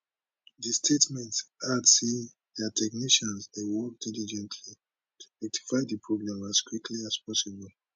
di statement add say dia technicians dey work diligently to rectify di problem as quickly as possible